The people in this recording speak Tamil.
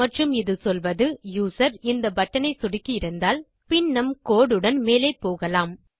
மற்றும் இது சொல்வது யூசர் இந்த பட்டன் ஐ சொடுக்கியிருந்தால் பின் நம் கோடு உடன் மேலே போகலாம்